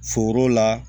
Foro la